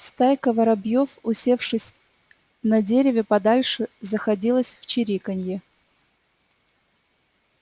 стайка воробьёв усевшись на дереве подальше заходилась в чириканье